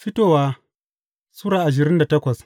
Fitowa Sura ashirin da takwas